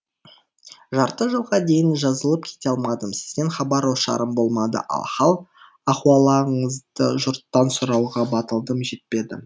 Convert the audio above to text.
жарты жылға дейін жазылып кете алмадым сізден хабар ошарым болмады ал хал ахуалыңызды жұрттан сұрауға батылым жетпеді